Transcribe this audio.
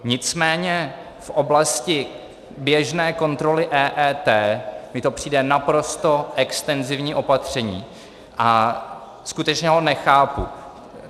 Nicméně v oblasti běžné kontroly EET mi to přijde naprosto extenzivní opatření a skutečně ho nechápu.